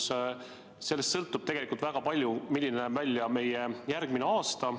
Sellest teemast sõltub tegelikult väga palju see, milline näeb välja meie järgmine aasta.